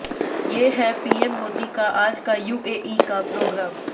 ये हैं पीएम मोदी का आज का यूएई का प्रोग्राम